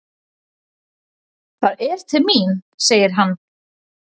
"""Það er til mín, segir hann."""